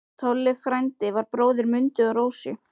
Tolli frændi var bróðir Mundu og Rósu.